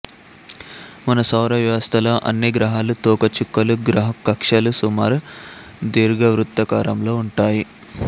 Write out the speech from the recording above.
మన సౌర వ్యవస్థలో అన్ని గ్రహాలు తోక చుక్కలు గ్రహ కక్ష్యలు సుమారు దీర్ఘవృత్తాకారంలో ఉంటాయి